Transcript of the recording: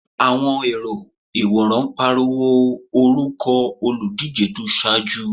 Àwọn èrò ìwòran pariwo orúkọ olùdíje tó ṣáájú.